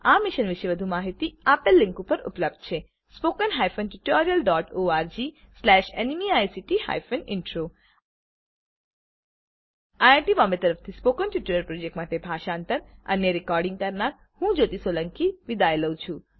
આ મિશન વિશે વધુ માહીતી આ લીંક ઉપર ઉપલબ્ધ છે httpspoken tutorialorgNMEICT Intro iit Bombay તરફથી સ્પોકન ટ્યુટોરીયલ પ્રોજેક્ટ માટે ભાષાંતર અને રેકોડીંગ હું જ્યોતી સોલંકી વિદાય લઉં છુ